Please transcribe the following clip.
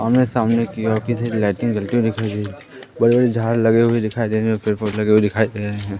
आमने सामने कि ओर किसी लाइटिंग जलती हुई दिखाई दे बड़े बड़े झाड़ लगे हुए दिखाई दे रहे हैं पेड़ पौधे लगे हुए दिखाई दे रहे हैं।